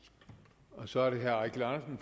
så er der